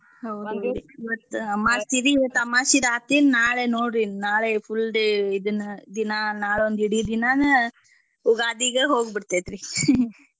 ಮತ್ತ್ ಅಮಾಸ್ಸಿರೀ. ಇವತ್ತ ಅಮಾಸ್ಸಿದ್ ಆತಿನ್ ನಾಳೇ ನೋಡ್ರಿನ್ ನಾಳೇ full day ಇದನ್ನ ದಿನಾ ನಾಳ್ ಒಂದಿಡಿ ದಿನಾನ ಉಗಾದಿಗೆ ಹೋಗ್ಬಿಡ್ತೇತ್ ರೀ .